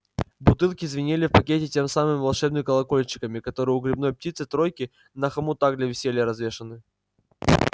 бутылки звенели в пакете теми самыми волшебными колокольчиками которые у гребаной птицы-тройки на хомутах для веселья развешены